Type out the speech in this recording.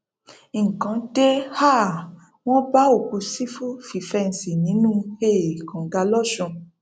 nǹkan dé um wọn bá òkú sífù fífẹǹsì nínú um kànga lọsùn